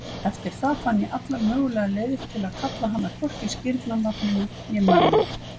Eftir það fann ég allar mögulegar leiðir til að kalla hana hvorki skírnarnafninu né mömmu.